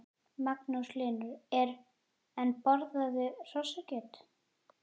Magnús Hlynur: En borðarðu hrossakjöt?